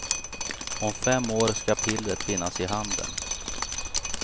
Om fem år ska pillret finnas i handeln.